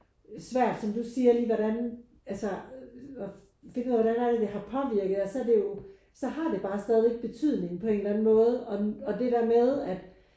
Svært som du siger lige hvordan altså at finde ud af hvordan er det det har påvirker os. Så det er jo så har det bare stadigvæk betydning på en eller anden måde og og det der med at